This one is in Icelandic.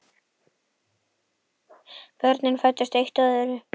Börnin fæddust eitt af öðru.